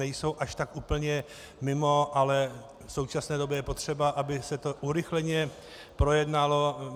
Nejsou až tak úplně mimo, ale v současné době je potřeba, aby se to urychleně projednalo.